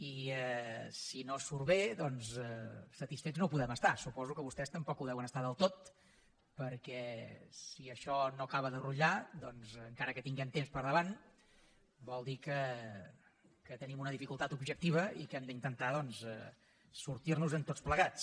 i si no surt bé doncs satisfets no ho podem estar suposo que vostès tampoc ho deuen estar del tot perquè si això no acaba de rutllar encara que tinguem temps per davant vol dir que tenim una dificultat objectiva i que hem d’intentar sortirnosen tots plegats